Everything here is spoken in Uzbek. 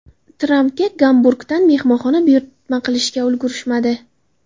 Trampga Gamburgdan mehmonxona buyurtma qilishga ulgurishmadi.